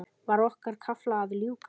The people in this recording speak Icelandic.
Var okkar kafla að ljúka?